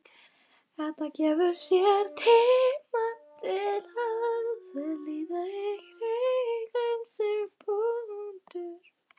Edda gefur sér tíma til að líta í kringum sig.